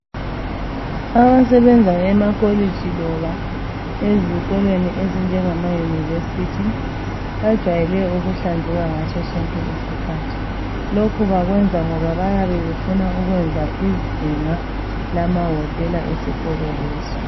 Abasebenza emakolitshi loba ezikolweni ezinjengamaYunivesi bajwayele ukuhlanzeka ngaso sonke isikhathi. Lokhu bakwenza ngoba bayabe befuna ukwenza izinga lamawotela esikolo leso.